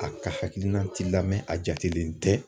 A ka hakilina ti lamɛn a jatelen tɛ